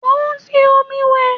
Mo ń fi omi wẹ̀